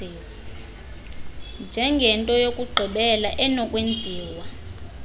njengento yokugqibela enokwenziwa